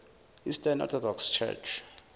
eastern orthodox church